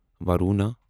Varuna